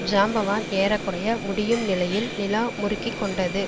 ஜாம்பவான் ஏற குறைய முடியும் நிலையில் நிலா முறுக்கி கொண்டது